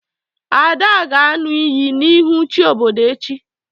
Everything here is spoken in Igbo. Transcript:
Ada ga-aṅụ iyi n'ihu chi obodo echi.